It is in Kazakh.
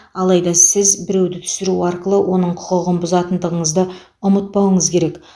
алайда сіз біреуді түсіру арқылы оның құқығын бұзатындығыңызды ұмытпауыңыз керек